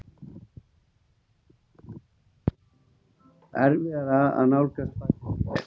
Erfiðara að nálgast falið fé